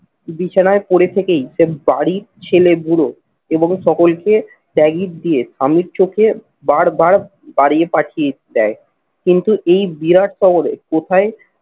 বিছানায় পরে থেকেই যে বাড়ির ছেলে বুড়ো এবং সকলকে দিয়ে স্বামীর চোখে বার বার বাড়িয়ে পাঠিয়ে দেয় কিন্তু এই বিরাট শহরে কোথায়